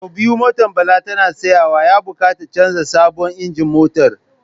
Sau biyu motar Bala tana tsayawa, ya bukatar canza sabon injin motar.